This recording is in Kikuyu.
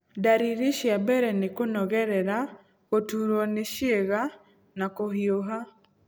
Ndariri cia mbere nĩ kũnogerera, gũturwo nĩ ciĩga na kũhiũha.